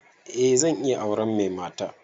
Eh zan iya auren mai mata